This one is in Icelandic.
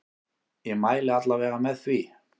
Ég mæli alla vega með því.